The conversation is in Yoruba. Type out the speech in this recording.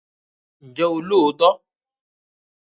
Ǹjẹ́ o lóòótọ́?